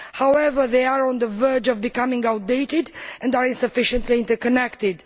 However, they are on the verge of becoming outdated and are insufficiently interconnected.